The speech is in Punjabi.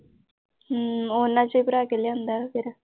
ਹਮ ਉਨ੍ਹਾਂ ਚੋਂ ਹੀ ਭਰਾ ਕੇ ਲਿਆਂਦਾ ਫਿਰ।